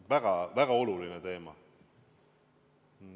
Väga-väga oluline teema!